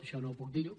això no puc dir·ho